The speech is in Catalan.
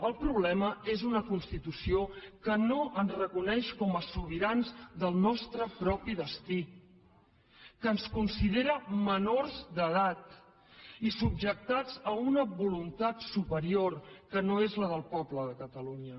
el problema és una constitució que no ens reconeix com a sobirans del nostre propi destí que ens considera menors d’edat i subjectats a una voluntat superior que no és la del poble de catalunya